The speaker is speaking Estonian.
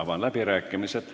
Avan läbirääkimised.